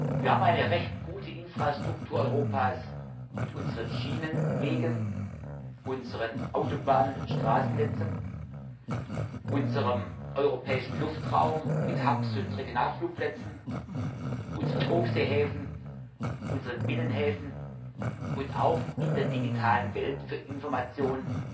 Wir haben eine recht gute Infrastruktur in Europa mit unseren Schienenwegen, unseren Autobahnen und Straßennetzen, unserem europäischen Luftraum mit Drehkreuzen und Regionalflugplätzen, unseren Hochseehäfen, unseren Binnenhäfen und auch in der digitalen Welt für Information